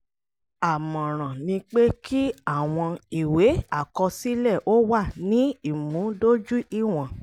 àmọ̀ràn ni pé kí àwọn ìwé àkọsílẹ̀ ó wà ní ìmúdójúìwọ̀n.